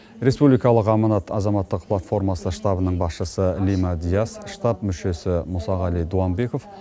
республикалық аманат азаматтық платформасы штабының басшысы лима диас штаб мүшесі мұсағали дуамбеков